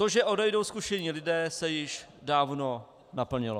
To, že odejdou zkušení lidé, se již dávno naplnilo.